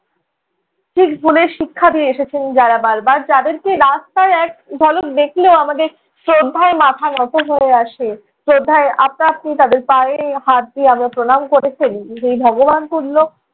ঠিক ভুলের শিক্ষা দিয়ে এসেছেন যারা বারবার, যাদেরকে রাস্তায় এক ঝলক দেখলেও আমাদের শ্রদ্ধায় মাথা নত হয়ে আসে। শ্রদ্ধায় আপনা আপনি তাঁদের পায়ে হাত দিয়ে আমরা প্রণাম করে ফেলি। সেই ভগবান তুল্য